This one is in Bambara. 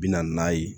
Bi na n'a ye